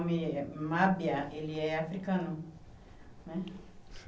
Mábia, ele é africano né.